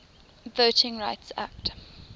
voting rights act